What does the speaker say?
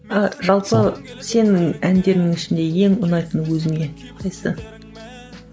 а жалпы сенің әндеріңнің ішінде ең ұнайтыны өзіңе қайсысы